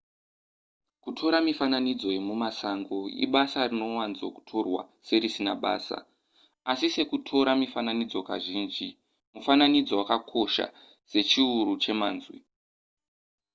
kutora mifinanidzo yemumasango ibasa rinowanzo kutorwa serisina basa asi sekutora mifananidzo kazhinji mufananidzo wakakosha sechiuru chemazwi